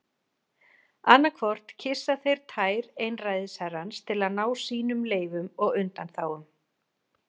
Annað hvort kyssa þeir tær einræðisherrans til að ná sínum leyfum og undanþágum.